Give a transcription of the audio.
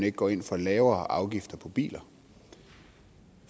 ikke går ind for lavere afgifter på biler